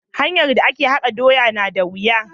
hanyar da a ke haka doya na da wuya.